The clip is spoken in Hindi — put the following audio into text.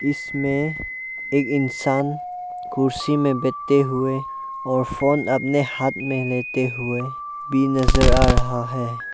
इसमें एक इंसान कुर्सी में बैठे हुए और फोन अपने हाथ में लेते हुए भी नजर आ रहा है।